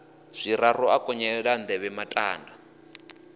zwiraru a konyolela nḓevhe matanda